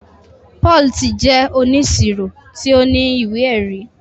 Paul tì jẹ ọníṣíró tì o ní iwé-ẹ̀rí